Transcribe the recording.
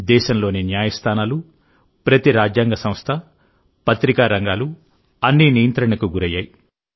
దేశంలోని న్యాయస్థానాలు ప్రతి రాజ్యాంగ సంస్థ పత్రికా రంగాలు అన్నీ నియంత్రణకు గురయ్యాయి